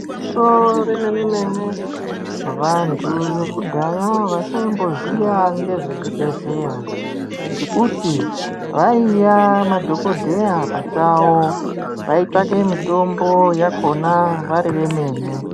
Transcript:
Igwinyiso remene-mene, vantu vekudhaya vasaimboziya ngezvezvibhedhleya, ngekuti vaiya madhokodheya pachavo. Vaitsvake mitombo yakhona vari vemene.